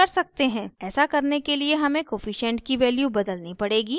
ऐसा करने के लिए हमें कोअफिशन्ट की value बदलनी पड़ेगी